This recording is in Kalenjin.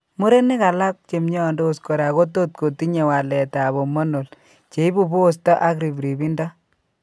Murenik alak chemiondos kora kotot kotinye waleet ab hormonal cheibu posto ak ribribindo